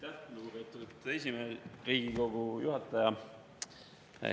Aitäh, lugupeetud Riigikogu juhataja!